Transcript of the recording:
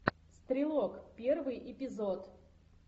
стрелок первый эпизод